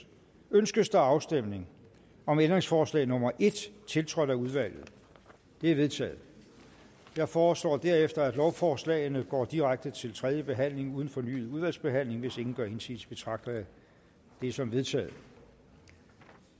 ønskes der afstemning om ændringsforslag nummer en tiltrådt af udvalget det er vedtaget jeg foreslår derefter at lovforslagene går direkte til tredje behandling uden fornyet udvalgsbehandling hvis ingen gør indsigelse betragter jeg det som vedtaget